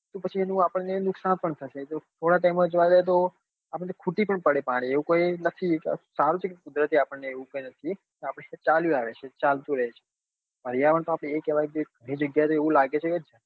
તો પછી આપણને એનું નુકસાન પણ થશે જો થોડા time માં જોવા જઈએ તો આપડે ખૂટી પણ પડે પાણી એવું કોઈ નથી સારું છે કે કુદરતી આપણને એવું કઈ નથી આપડે ચાલ્યું આવે છે ચાલતું રહશે પર્યાવરણ તો આપડે એ કેવાય કે ગણી જગ્યા એ તો એવું લાગે છે કે